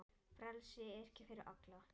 Frelsi er ekki fyrir alla.